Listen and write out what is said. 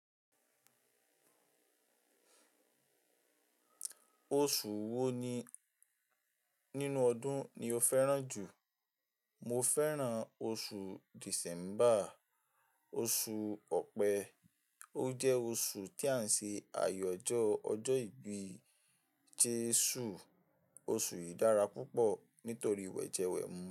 Oṣù wo ni nínú ọdún ni o fẹ́ràn jù? Mo fẹ́ràn oṣù December, oṣù Ọ̀pẹ. Ó jẹ́ oṣù tí à ń ṣe àyájọ́ ọjọ́ ìbí Jésù. Oṣù yìí dára púpọ̀ nítorí wẹ̀jẹwẹ̀mu.